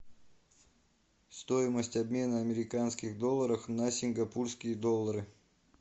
стоимость обмена американских долларов на сингапурские доллары